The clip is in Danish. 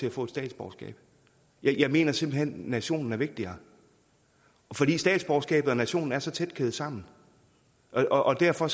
at få et statsborgerskab jeg mener simpelt hen at nationen er vigtigere fordi statsborgerskabet og nationen er så tæt kædet sammen og derfor